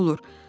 O necə olur?